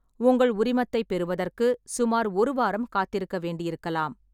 உங்கள் உரிமத்தைப் பெறுவதற்கு சுமார் ஒரு வாரம் காத்திருக்க வேண்டியிருக்கலாம்.